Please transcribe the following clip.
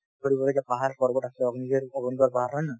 কৰিবলগীয়া পাহাৰ পৰ্বত আছে পাহাৰ হয় নে নহয়